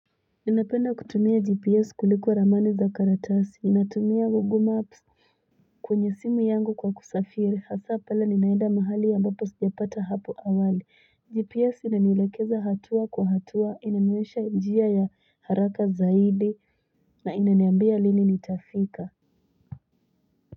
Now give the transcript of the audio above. Inapenda kutumia GPS kuliko Ramani Zakaratasi, inatumia WoguMaps, kunyesimu yangu kwa kusafiri, hasa pula ninaida mahali ambapo siyapata hapu awali. GPS ina nilakeza hatua kwa hatua, ina mmesha idjia ya haraka zaidi, na ina niambia lili ni tafika.